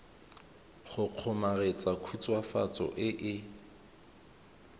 go kgomaretsa khutswafatso e e